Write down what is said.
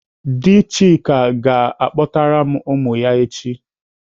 Dị Chika ga-akpọtara m ụmụ ya echi.